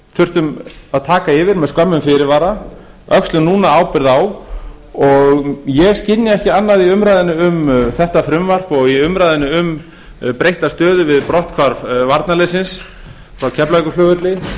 þurftum að taka yfir með skömmum fyrirvara öxlum núna ábyrgð á og ég skynja ekki annað í umræðunni um þetta frumvarp og í umræðunni um breytta stöðu við brotthvarf varnarliðsins frá keflavíkurflugvelli